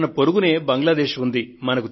మన పొరుగునే బంగ్లాదేశ్ ఉంది